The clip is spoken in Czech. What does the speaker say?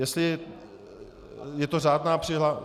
Jestli je to řádná přihláška...